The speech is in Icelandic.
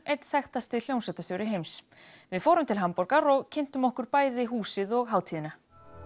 einn þekktasti hljómsveitarstjóri heims við fórum til Hamborgar og kynntum okkur bæði húsið og hátíðina